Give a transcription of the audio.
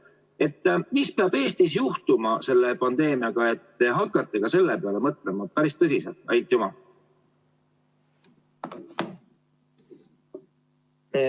Mis peab Eestis juhtuma selle pandeemiaga, et te hakkaksite selle peale päris tõsiselt mõtlema?